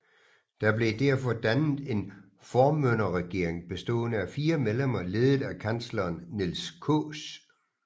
Der blev derfor dannet en formynderregering bestående af fire medlemmer ledet af kansleren Niels Kaas